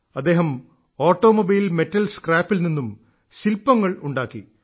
അദ്ദേഹം automobile metal സ്ക്രാപ്പിൽ നിന്നും ശില്പങ്ങൾ ഉണ്ടാക്കി